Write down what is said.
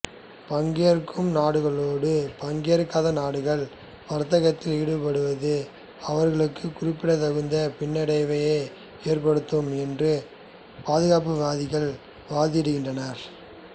பங்கேற்கும் நாடுகளோடு பங்கேற்காத நாடுகள் வர்த்தகத்தில் ஈடுபடுவது அவர்களுக்கு குறிப்பிடத்தகுந்த பின்னடைவையே ஏற்படுத்தும் என்று பாதுகாப்புவாதிகள் வாதிடுகின்றனர்